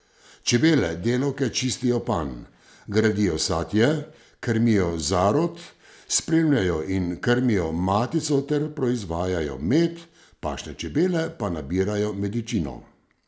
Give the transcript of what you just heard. Čebele delavke čistijo panj, gradijo satje, krmijo zarod, spremljajo in krmijo matico ter proizvajajo med, pašne čebele pa nabirajo medičino.